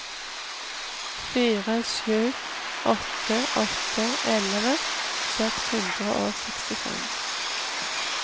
fire sju åtte åtte elleve seks hundre og sekstifem